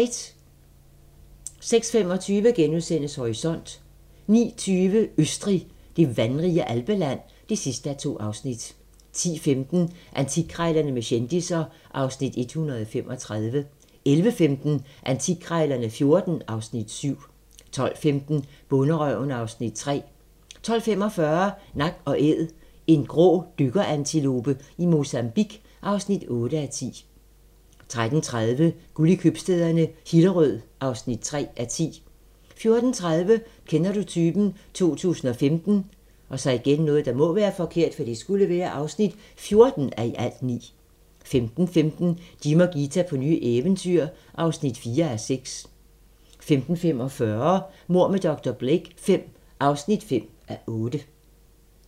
06:25: Horisont * 09:20: Østrig - det vandrige alpeland (2:2) 10:15: Antikkrejlerne med kendisser (Afs. 135) 11:15: Antikkrejlerne XIV (Afs. 7) 12:15: Bonderøven (Afs. 3) 12:45: Nak & Æd - en grå dykkerantilope i Mozambique (8:10) 13:30: Guld i købstæderne - Hillerød (3:10) 14:30: Kender du typen? 2015 (14:9) 15:15: Jim og Ghita på nye eventyr (4:6) 15:45: Mord med dr. Blake V (5:8)